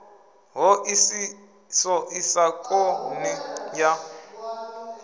ṱhoḓisiso i sa konḓi ya